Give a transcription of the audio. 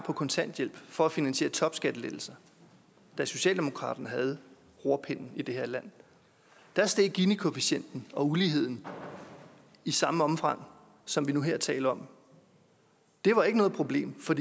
på kontanthjælpen for at finansiere topskattelettelser da socialdemokratiet havde rorpinden i det her land der steg ginikoefficienten og uligheden i samme omfang som vi nu her taler om det var ikke noget problem for